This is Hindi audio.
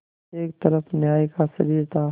एक तरफ न्याय का शरीर था